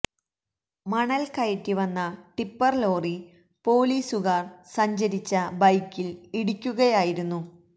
മണൽ കയറ്റി വന്ന ടിപ്പർ ലോറി പോലീസുകാർ സഞ്ചരിച്ച ബൈക്കിൽ ഇടിക്കുകയായിരുന്നു